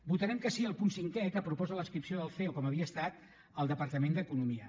votarem que sí al punt cinquè que proposa l’adscripció del ceo com havia estat al departament d’economia